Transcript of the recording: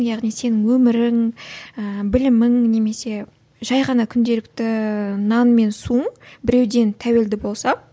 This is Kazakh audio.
яғни сенің өмірің ыыы білімің немесе жай ғана күнделікті нан мен суың біреуден тәуелді болса